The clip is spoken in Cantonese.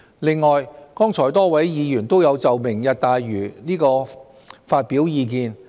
另外，剛才多位議員均有就"明日大嶼"發表意見。